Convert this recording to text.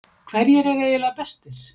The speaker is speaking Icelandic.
Hverjir eru eiginlega bestir?